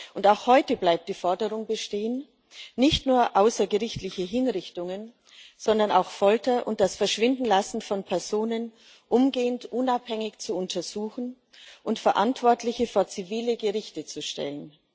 Und auch heute bleibt die Forderung bestehen, nicht nur außergerichtliche Hinrichtungen, sondern auch Folter und das Verschwindenlassen von Personen umgehend unabhängig zu untersuchen und Verantwortliche vor zivile Gerichte zu stellen.